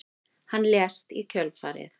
Hann lést í kjölfarið